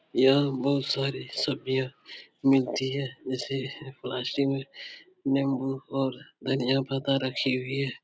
यहाँ बोहोत सारे सब्जियां मिलती हैं जैसे पास ही में निम्बू और धनिया पत्ता रखी हुई है।